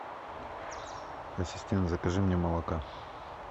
ассистент закажи мне молока